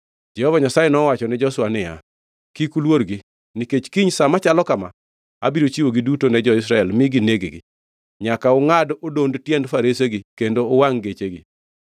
Jehova Nyasaye nowachone Joshua niya, “Kik uluorgi, nikech kiny sa machalo kama abiro chiwogi duto ne jo-Israel mi gineg-gi. Nyaka ungʼad odond tiend faresegi kendo uwangʼ gechegi.”